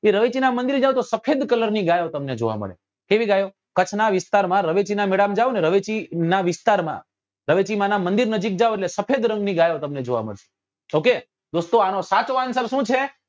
એ રવેચી નાં મંદિર માં જાઓ તો સફેદ કલર ની ગાયો તમને જોવા મળે કેવી ગાયો કચ્છ નાં વિસ્તાર માં રવેચી નાં મેળા માં જાઓ ને રવેચી નાં વિસ્તાર માં રવેચી માં નાં મંદિર નજીક જાઓ એટલે સફેદ રંગ ની ગાયો તમને જોવા મળે okay દોસ્તો આનો સાચો answer શું છે